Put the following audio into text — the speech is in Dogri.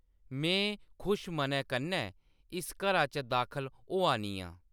में खुश मनै कन्नै इस घरा च दाखल होआ नी आं।